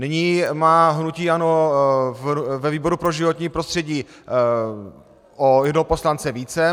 Nyní má hnutí ANO ve výboru pro životní prostředí o jednoho poslance více.